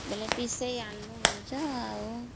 ବେଲେ ପେସେଇ ଆଣିଛୁ ତା